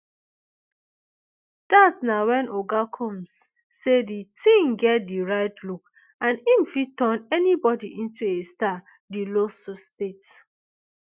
dat na wen oga combs say di teen get di right look and im fit turn anybody into a star di lawsuit state